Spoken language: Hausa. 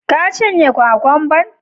Ka cinye kwakamban??